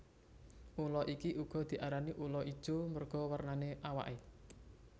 Ula iki uga diarani ula ijo merga wernane awaké